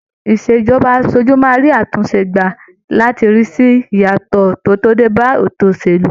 Ìṣèjọba aṣojú, máa rí àtúnṣe gbà láti rí sì ìyàtọ̀ tí ó dé ba ètò òṣèlú.